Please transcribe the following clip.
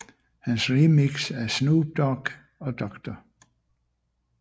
Hans remix af Snoop Dogg og Dr